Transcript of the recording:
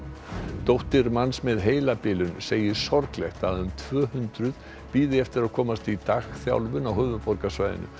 dóttir manns með heilabilun segir sorglegt að um tvö hundruð bíði eftir að komast í dagþjálfun á höfuðborgarsvæðinu